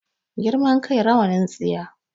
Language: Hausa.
Girman kai rawanin tsiya